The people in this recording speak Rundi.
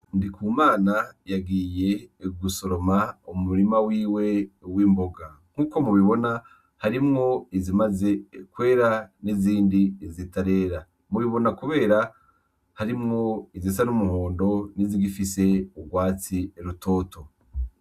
Umwana yagiye gusoroma mu murima wiwe w'imboga .Nkuko mubibona harimwo izimaze kwera n'izindi zitarera. Ubibona kubera harimwo izisa n'umuhondo n'izigifse ugwatsi rutoto.